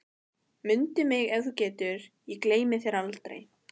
Mundu mig ef þú getur, ég gleymi þér aldrei